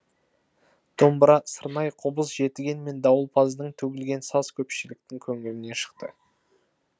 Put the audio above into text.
домбыра сырнай қобыз жетіген мен дауылпаздын төгілген саз көпшіліктің көңілінен шықты